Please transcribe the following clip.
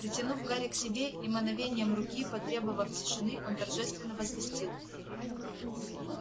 притянув гарри к себе и мановением руки потребовав тишины он торжественно возвестил